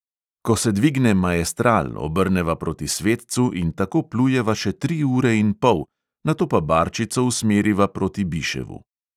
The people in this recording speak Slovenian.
Ko se dvigne maestral, obrneva proti svetcu in tako plujeva še tri ure in pol, nato pa barčico usmeriva proti biševu.